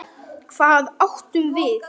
Hvað átum við?